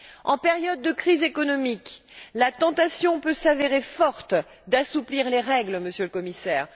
En période de crise économique, la tentation peut s'avérer forte d'assouplir les règles, Monsieur le Commissaire.